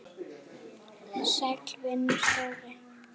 Sæll vinur, Dóri!